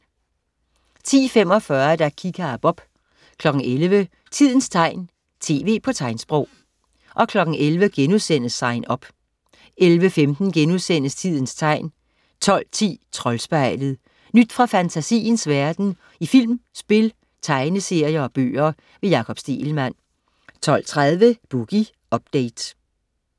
10.45 Kika og Bob 11.00 Tidens tegn, tv på tegnsprog 11.00 Sign Up* 11.15 Tidens tegn* 12.10 Troldspejlet. Nyt fra fantasiens verden i film, spil, tegneserier og bøger. Jakob Stegelmann 12.30 Boogie Update